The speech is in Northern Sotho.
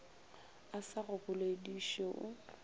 a sa go bolediše o